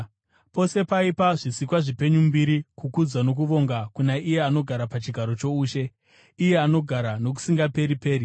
Pose paipa zvisikwa zvipenyu mbiri, kukudzwa nokuvonga kuna iye anogara pachigaro choushe, iye anogara nokusingaperi-peri,